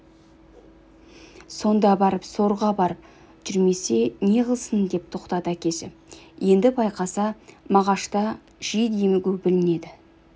сонда барып сорға барып жүрмесе не қылсын деп тоқтады әкесі енді байқаса мағашта жиі демігу білінеді